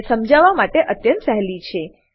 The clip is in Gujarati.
આ સરળ અને સમજવામાં અત્યંત સહેંલી છે